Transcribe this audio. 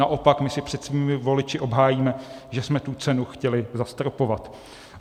Naopak my si před svými voliči obhájíme, že jsme tu cenu chtěli zastropovat.